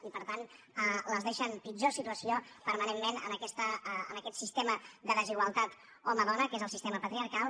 i per tant les deixa en pitjor situació permanentment en aquest sistema de desigualtat home dona que és el sistema patriarcal